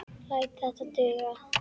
Læt þetta duga.